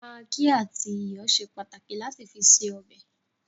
Magí àti iyọ̀ ṣe pàtàkì lati fi ṣe ọbẹ̀